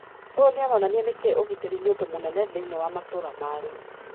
uyu nioraonania niki ugiteri ni undu munene thiinie wa matura ma riu